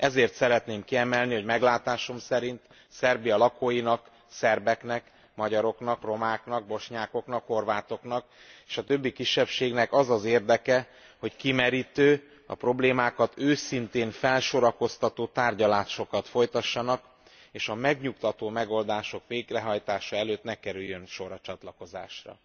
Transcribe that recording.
Ezért szeretném kiemelni, hogy meglátásom szerint Szerbia lakóinak, szerbeknek, magyaroknak, romáknak, bosnyákoknak, horvátoknak és a többi kisebbségnek az az érdeke, hogy kimerítő, a problémákat őszintén felsorakoztató tárgyalásokat folytassanak, és a megnyugtató megoldások végrehajtása előtt ne kerüljön sor a csatlakozásra.